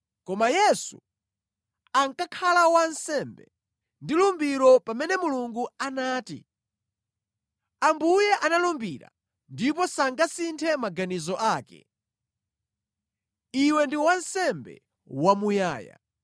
Koma Yesu ankakhala wansembe ndi lumbiro pamene Mulungu anati, “Ambuye analumbira ndipo sangasinthe maganizo ake, ‘Iwe ndi wansembe wamuyaya.’ ”